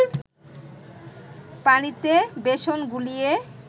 পানিতে বেসন গুলিয়ে